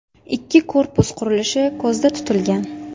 Ikki korpus qurilishi ko‘zda tutilgan.